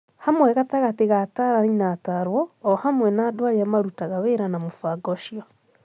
Hamwe gatagatĩ ka ataranĩ na atarwo o hamwe na andũ arĩa marutaga wĩra na mũbango ũcio.